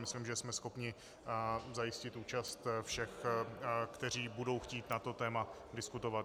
Myslím, že jsme schopni zajistit účast všech, kteří budou chtít na to téma diskutovat.